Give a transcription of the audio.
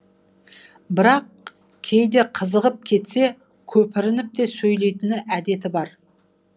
бірақ кейде қызығып кетсе көпірініп те сөйлейтін әдеті бар